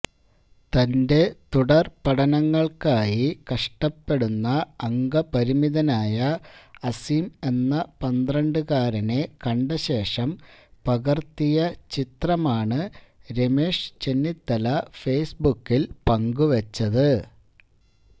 തന്റെ തുടര് പഠനങ്ങള്ക്കായി കഷ്ടപ്പെടുന്ന അംഗപരിമിതനായ അസിം എന്ന പന്ത്രണ്ടുകാരനെ കണ്ടശേഷം പകര്ത്തിയ ചിത്രമാണ് രമേശ് ചെന്നിത്തല ഫേസ്ബുക്കില് പങ്കുവെച്ചത്